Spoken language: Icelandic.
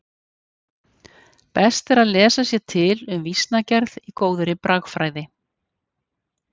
Best er að lesa sér til um vísnagerð í góðri bragfræði.